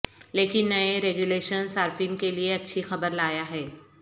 لیکن نئے ریگولیشن صارفین کے لئے اچھی خبر لایا ہے